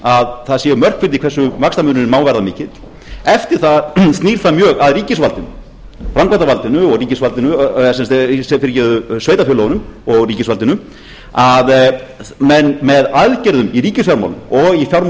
að það séu mörk fyrir því hversu vaxtamunurinn má vera mikill eftir það snýr það mjög að ríkisvaldinu framkvæmdarvaldinu og ríkisvaldinu sveitarfélögunum og sveitarfélögunum og ríkisvaldinu að menn með aðgerðum í ríkisfjármálum og í fjármálum